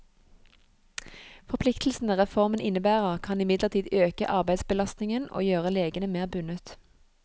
Forpliktelsene reformen innebærer, kan imidlertid øke arbeidsbelastningen og gjøre legene mer bundet.